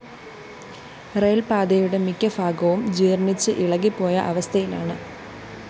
റയില്‍പാതയുടെ മിക്കഭാഗവും ജീര്‍ണിച്ച് ഇളകിപോയ അവസ്ഥയിലാണ്